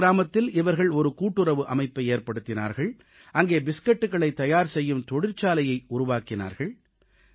முனார் கிராமத்தில் இவர்கள் ஒரு கூட்டுறவு அமைப்பை ஏற்படுத்தினார்கள் அங்கே பிஸ்கட்களைத் தயார் செய்யும் தொழிற்சாலையை உருவாக்கினார்கள்